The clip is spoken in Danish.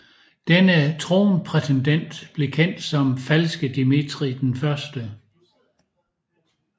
Denne tronprætendent blev kendt som Falske Dmitrij I